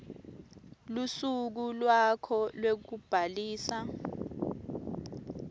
lusuku lwakho lwekubhalisa